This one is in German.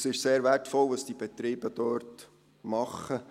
Es ist sehr wertvoll, was diese Betriebe dort machen.